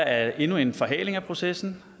af endnu en forhaling af processen